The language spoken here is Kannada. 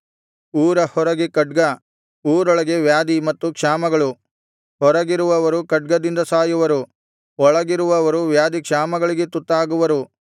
ಊರ ಹೊರಗೆ ಖಡ್ಗ ಊರೊಳಗೆ ವ್ಯಾಧಿ ಮತ್ತು ಕ್ಷಾಮಗಳು ಹೊರಗಿರುವವರು ಖಡ್ಗದಿಂದ ಸಾಯುವರು ಒಳಗಿರುವವರು ವ್ಯಾಧಿ ಕ್ಷಾಮಗಳಿಗೆ ತುತ್ತಾಗುವರು